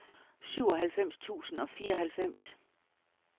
syvoghalvfems tusind og fireoghalvfems